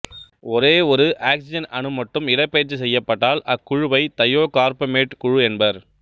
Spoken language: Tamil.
ஒரே ஒரு ஆக்சிசன் அணு மட்டும் இடப்பெயர்ச்சி செய்யப்பட்டால் அக்குழுவை தயோகார்பமேட்டு குழு என்பர்